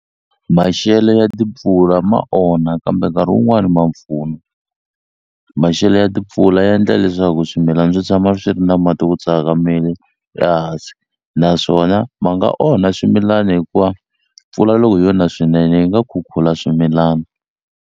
Maxelo ya timpfula ma onha kambe nkarhi wun'wani ma pfuna maxelo ya timpfula ya endla leswaku swimilana swi tshama swi ri na mati ku tsakamile la hansi naswona ma nga onha swimilani hikuva mpfula loko yo na swinene yi nga khukhula swimilana.